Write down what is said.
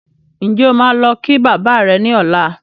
Ǹjẹ́ o máa lọ kí bàbá rẹ ní ọlá?